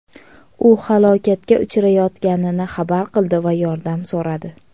U halokatga uchrayotganini xabar qildi va yordam so‘radi.